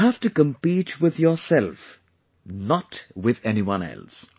You have to compete with yourself, not with anyone else